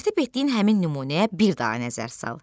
Tərtib etdiyin həmin nümunəyə bir daha nəzər sal.